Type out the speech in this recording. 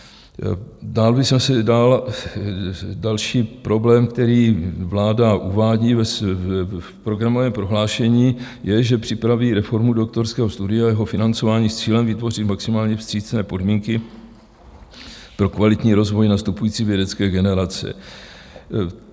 Další problém, který vláda uvádí v programovém prohlášení, je, že připraví reformu doktorského studia, jeho financování s cílem vytvořit maximálně vstřícné podmínky pro kvalitní rozvoj nastupující vědecké generace.